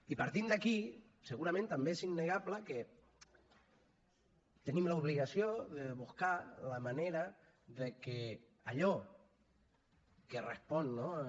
i partint d’aquí segurament també és innegable que tenim l’obligació de buscar la manera de que allò que respon no